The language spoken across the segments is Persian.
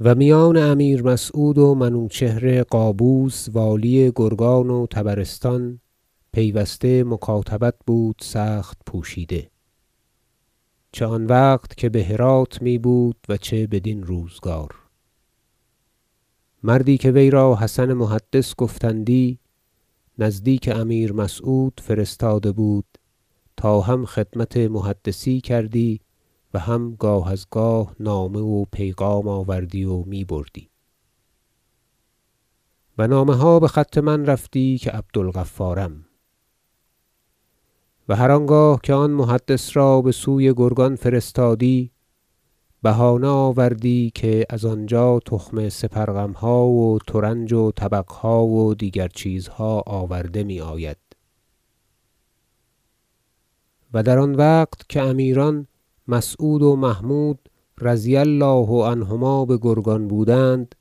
و میان امیر مسعود و منوچهر قابوس والی گرگان و طبرستان پیوسته مکاتبت بود سخت پوشیده چه آن وقت که به هرات میبود و چه بدین روزگار مردی که وی را حسن محدث گفتندی نزدیک امیر مسعود فرستاده بود تا هم خدمت محدثی کردی و هم گاه از گاه نامه و پیغام آوردی و می بردی و نامه ها به خط من رفتی که عبد الغفارم و هر آنگاه که آن محدث را بسوی گرگان فرستادی بهانه آوردی که از آنجا تخم سپرغم ها و ترنج و طبقها و دیگر چیزها آورده میاید و در آن وقت که امیران مسعود و محمود -رضی الله عنهما- به گرگان بودند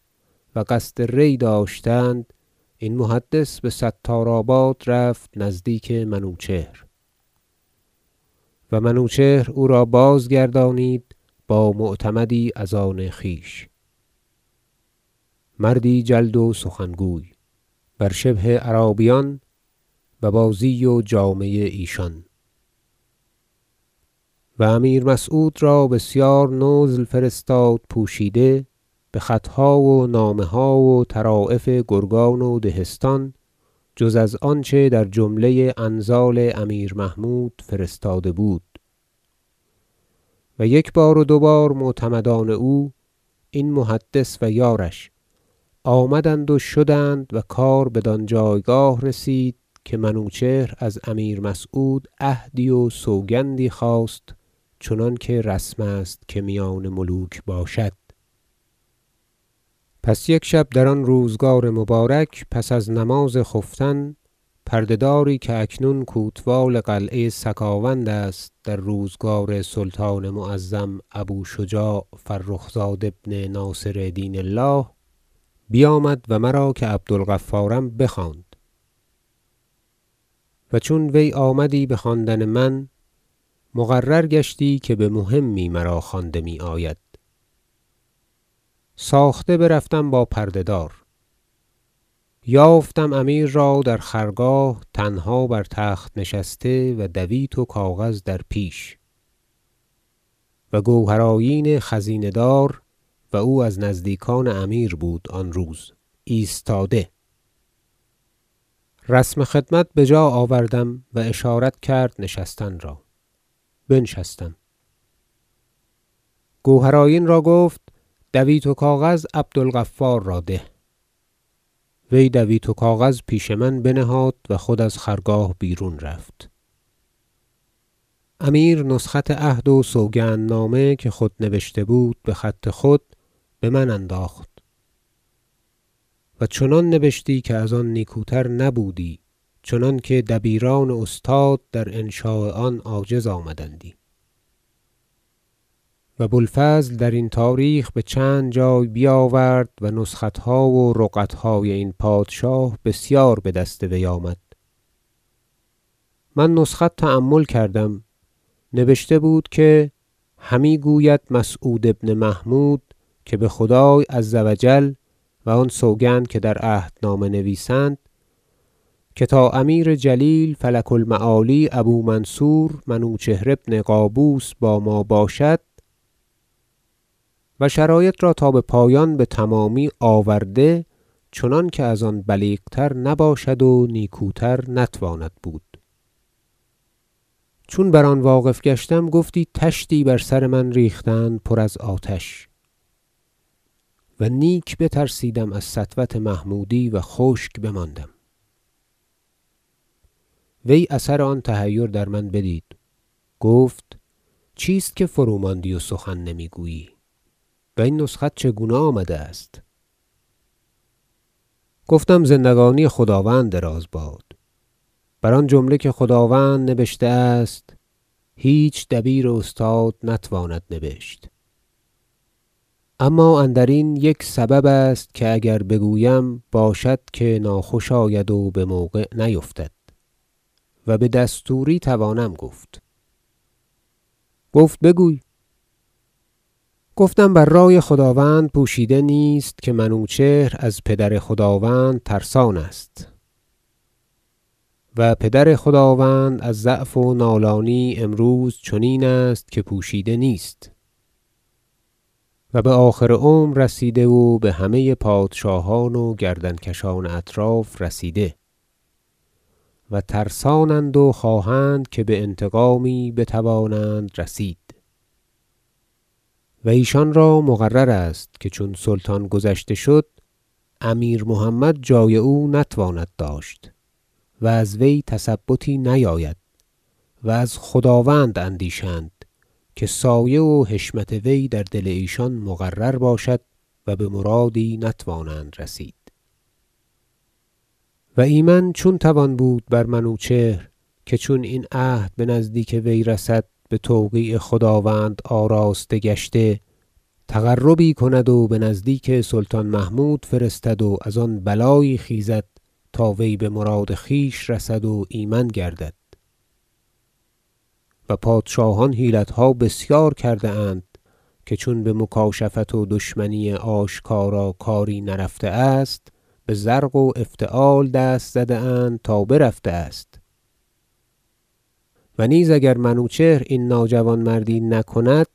و قصد ری داشتند این محدث به ستارآباد رفت نزدیک منوچهر و منوچهر او را بازگردانید با معتمدی از آن خویش مردی جلد و سخن گوی بر شبه عرابیان و با زی و جامه ایشان و امیر مسعود را بسیار نزل فرستاد پوشیده به خطها و نامه ها و طرایف گرگان و دهستان جز از آنچه در جمله انزال امیر محمود فرستاده بود و یک بار و دو بار معتمدان او این محدث و یارش آمدند و شدند و کار بدان جایگاه رسید که منوچهر از امیر مسعود عهدی و سوگندی خواست چنانکه رسم است که میان ملوک باشد پس یک شب در آن روزگار مبارک پس از نماز خفتن پرده داری که اکنون کوتوال قلعه سکاوند است در روزگار سلطان معظم ابوشجاع فرخ زاد ابن ناصر دین الله بیامد و مرا که عبدالغفارم بخواند- و چون وی آمدی به خواندن من مقرر گشتی که به مهمی مرا خوانده میاید ساخته برفتم با پرده دار یافتم امیر را در خرگاه تنها بر تخت نشسته و دویت و کاغذ در پیش و گوهرآیین خزینه دار- و او از نزدیکان امیر بود آن روز- ایستاده رسم خدمت را به جا آوردم و اشارت کرد نشستن را بنشستم گوهرآیین را گفت دویت و کاغذ عبدالغفار را ده وی دویت و کاغذ پیش من بنهاد و خود از خرگاه بیرون رفت امیر نسخت عهد و سوگندنامه که خود نبشته بود به خط خود به من انداخت و چنان نبشتی که از آن نیکوتر نبودی چنانکه دبیران استاد در انشاء آن عاجز آمدندی- و بوالفضل درین تاریخ به چند جای بیاورد و نسختها و رقعتهای این پادشاه بسیار بدست وی آمد من نسخت تأمل کردم نبشته بود که همی گوید مسعود بن محمود که به خدای -عز و جل و آن سوگند که در عهدنامه نویسند که تا امیر جلیل فلک المعالی ابومنصور منوچهر بن قابوس با ما باشد و شرایط را تا به پایان بتمامی آورده چنانکه از آن بلیغ تر نباشد و نیکوتر نتواند بود چون بر آن واقف گشتم گفتی طشتی بر سر من ریختند پر از آتش و نیک بترسیدم از سطوت محمودی و خشک بماندم وی اثر آن تحیر در من بدید گفت چیست که فروماندی و سخن نمیگویی و این نسخت چگونه آمده است گفتم زندگانی خداوند دراز باد بر آن جمله که خداوند نبشته است هیچ دبیر استاد نتواند نبشت اما اندرین یک سبب است که اگر بگویم باشد که ناخوش آید و به موقع نیفتد و به دستوری توانم گفت گفت بگوی گفتم بر رأی خداوند پوشیده نیست که منوچهر از پدر خداوند ترسان است و پدر خداوند از ضعف و نالانی امروز چنین است که پوشیده نیست و به آخر عمر رسیده و خبر آن به همه پادشاهان و گردن کشان اطراف رسیده و ترسانند و خواهند که به انتقامی بتوانند رسید و ایشان را مقررست که چون سلطان گذشته شد امیر محمد جای او نتواند داشت و از وی تثبتی نیاید و از خداوند اندیشند که سایه و حشمت وی در دل ایشان مقرر باشد و به مرادی نتوانند رسید و ایمن چون توان بود بر منوچهر که چون این عهد به نزدیک وی رسد به توقیع خداوند آراسته گشته تقربی کند و به نزدیک سلطان محمود فرستد و از آن بلایی خیزد تا وی به مراد خویش رسد و ایمن گردد و پادشاهان حیلتها بسیار کرده اند که چون به مکاشفت و دشمنی آشکارا کاری نرفته است به زرق و افتعال دست زده اند تا برفته است و نیز اگر منوچهر این ناجوانمردی نکند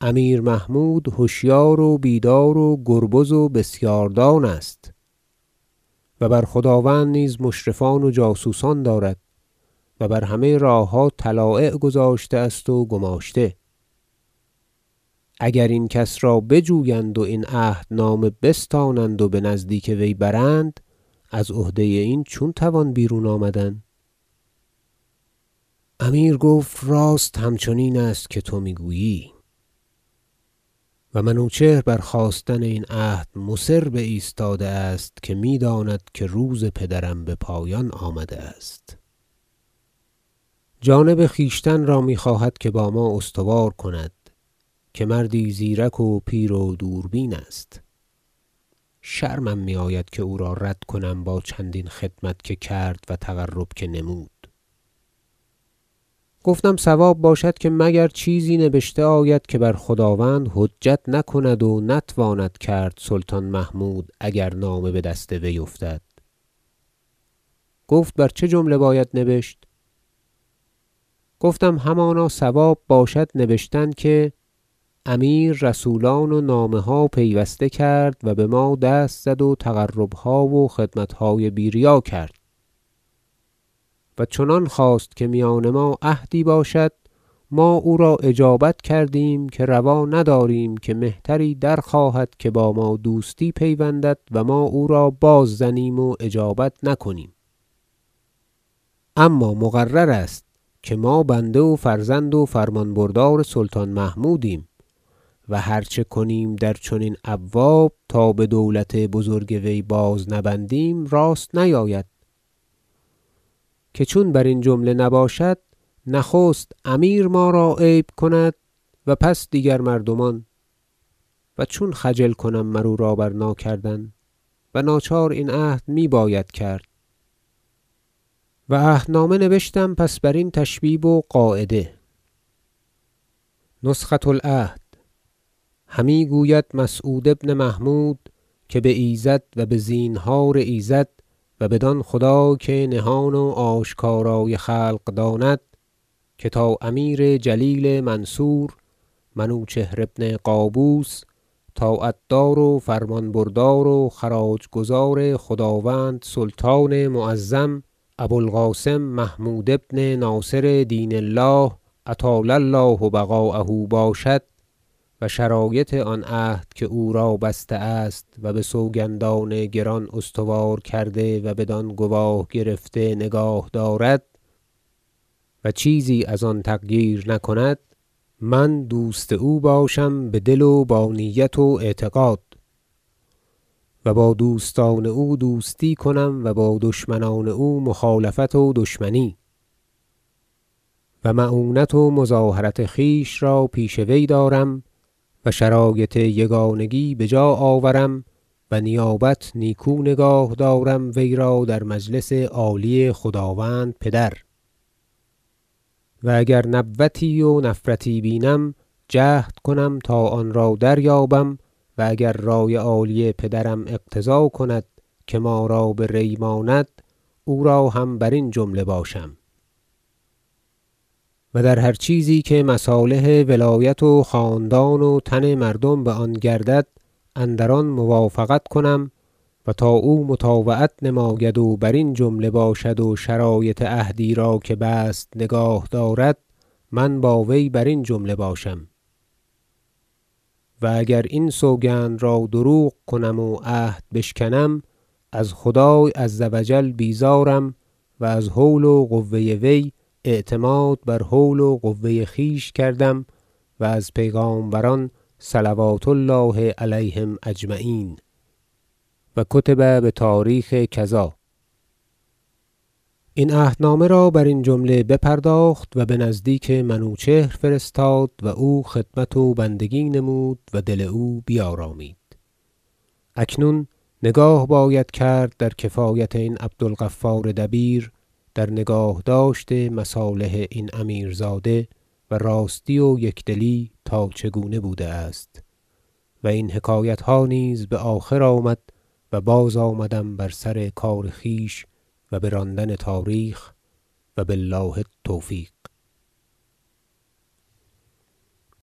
امیر محمود هشیار و بیدار و گربز و بسیاردان است و بر خداوند نیز مشرفان و جاسوسان دارد و بر همه راهها طلایع گذاشته است و گماشته اگر این کس را بجویند و این عهدنامه بستانند و به نزدیک وی برند از عهده این چون توان بیرون آمدن امیر گفت راست همچنین است که تو میگویی و منوچهر بر خواستن این عهد مصر بایستاده است که میداند که روز پدرم به پایان آمده است جانب خویشتن را میخواهد که با ما استوار کند که مردی زیرک و پیر و دوربین است شرمم میآید که او را رد کنم با چندین خدمت که کرد و تقرب که نمود گفتم صواب باشد که مگر چیزی نبشته آید که بر خداوند حجت نکند و نتواند کرد سلطان محمود اگر نامه به دست وی افتد گفت بر چه جمله باید نبشت گفتم همانا صواب باشد نبشتن که امیر رسولان و نامه ها پیوسته کرد و به ما دست زد و تقربها و خدمتهای بی ریا کرد و چنان خواست که میان ما عهدی باشد ما او را اجابت کردیم که روا نداریم که مهتری درخواهد که با ما دوستی پیوندد و ما او را باززنیم و اجابت نکنیم اما مقرر است که ما بنده و فرزند و فرمان بردار سلطان محمودیم و هر چه کنیم در چنین ابواب تا به دولت بزرگ وی بازنبندیم راست نیاید که چون برین جمله نباشد نخست امیر ما را عیب کند و پس دیگر مردمان و چون خجل کنم من او را بر ناکردن و ناچار این عهد می باید کرد و عهدنامه نبشتم پس بر این تشبیب و قاعده نسخة العهد همی گوید مسعود بن محمود که به ایزد و به زینهار ایزد و بدان خدای که نهان و آشکارای خلق داند که تا امیر جلیل منصور منوچهر بن قابوس طاعت دار و فرمان بردار و خراج گزار خداوند سلطان معظم ابوالقاسم محمود ابن ناصر دین الله -أطال الله بقاءه - باشد و شرایط آن عهد که او را بسته است و به سوگندان گران استوار کرده و بدان گواه گرفته نگاه دارد و چیزی از آن تغییر نکند من دوست او باشم به دل و با نیت و اعتقاد و با دوستان او دوستی کنم و با دشمنان او مخالفت و دشمنی و معونت و مظاهرت خویش را پیش وی دارم و شرایط یگانگی به جا آورم و نیابت نیکو نگاه دارم وی را در مجلس عالی خداوند پدر و اگر نبوتی و نفرتی بینم جهد کنم تا آن را دریابم و اگر رای عالی پدرم اقتضا کند که ما را به ری ماند او را هم برین جمله باشم و در هر چیزی که مصالح ولایت و خاندان و تن مردم به آن گردد اندر آن موافقت کنم و تا او مطاوعت نماید و برین جمله باشد و شرایط عهدی را که بست نگاه دارد من با وی برین جمله باشم و اگر این سوگند را دروغ کنم و عهد بشکنم از خدای عز و جل- بیزارم و از حول و قوة وی اعتماد بر حول و قوة خویش کردم و از پیغامبران -صلوات الله علیهم أجمعین - و کتب بتاریخ کذا این عهدنامه را برین جمله بپرداخت و به نزدیک منوچهر فرستاد و او خدمت و بندگی نمود و دل او بیارامید اکنون نگاه باید کرد در کفایت این عبدالغفار دبیر در نگاهداشت مصالح این امیرزاده و راستی و یکدلی تا چگونه بوده است و این حکایتها نیز به آخر آمد و بازآمدم بر سر کار خویش و به راندن تاریخ و بالله التوفیق